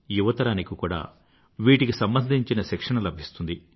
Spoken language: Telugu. యువతరానికి కూడా వీటికి సంబంధించిన శిక్షణ లభిస్తుంది